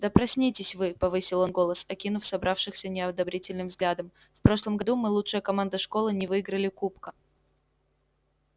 да проснитесь вы повысил он голос окинув собравшихся неодобрительным взглядом в прошлом году мы лучшая команда школы не выиграли кубка